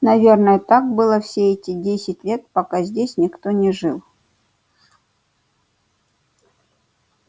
наверное так было все эти десять лет пока здесь никто не жил